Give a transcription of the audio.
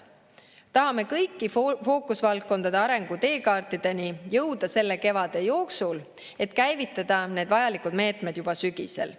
Tahame kõigi fookusvaldkondade arengu teekaartideni jõuda selle kevade jooksul, et käivitada need vajalikud meetmed juba sügisel.